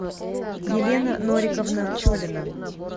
елена нориковна пчелина